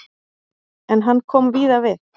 En hann kom víða við.